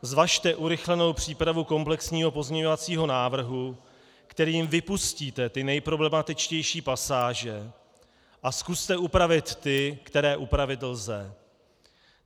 Zvažte urychlenou přípravu komplexního pozměňovacího návrhu, kterým vypustíte ty nejproblematičtější pasáže, a zkuste upravit ty, které upravit lze.